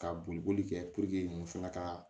Ka boli boli kɛ muso fana ka